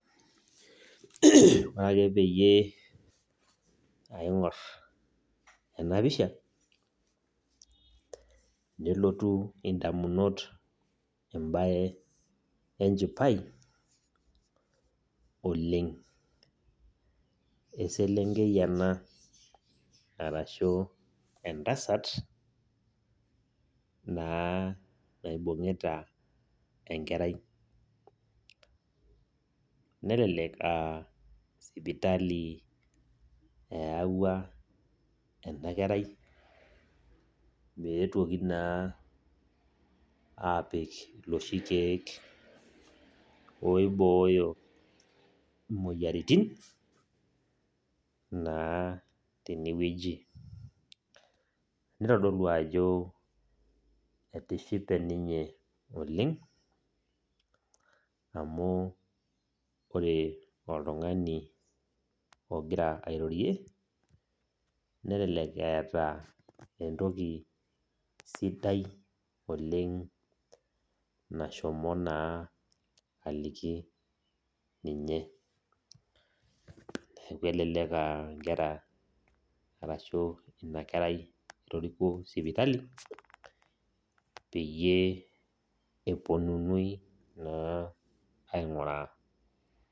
Ore ake peyie aing'or enapisha, nelotu indamunot ebae enchipai, oleng. Eselenkei ena arashu entasat, naa naibung'ita enkerai. Nelelek ah sipitali eewua enda kerai, meetuoki naa apik loshi keek oibooyo imoyiaritin, naa tenewueji. Nitodolu ajo etishipe ninye oleng, amu ore oltung'ani ogira airorie, nelelek eeta entoki sidai oleng nashomo naa aliki ninye. Neeku elelek ah inkera arashu enakerai etoriko sipitali, peyie eponunui naa aing'uraa.